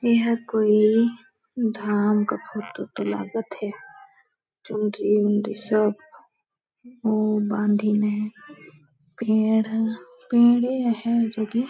यह कोई धाम का फोटो तो लागत है चुनरी-उनरी सब मुँह बांधिन है पेड़ है पेड़े है जो की --